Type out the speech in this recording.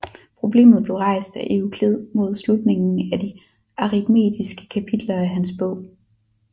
Problemet blev rejst af Euklid mod slutningen af de aritmetiske kapitler af hans bog